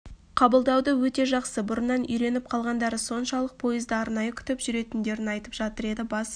қабылдауы өте жақсы бұрыннан үйреніп қалғандары соншалық пойызды арнайы күтіп жүретіндерін айтып жатыр дейді бас